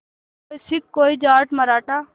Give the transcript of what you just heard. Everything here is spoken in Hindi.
कोई सिख कोई जाट मराठा